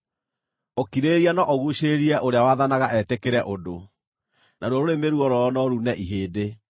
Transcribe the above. Ũkirĩrĩria no ũguucĩrĩrie ũrĩa waathanaga etĩkĩre ũndũ, naruo rũrĩmĩ ruororo no ruune ihĩndĩ.